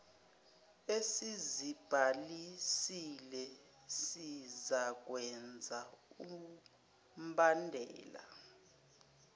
esizibhalisile sizakwenza umbandela